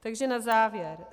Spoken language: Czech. Takže na závěr.